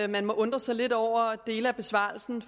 man må undre sig lidt over dele af besvarelsen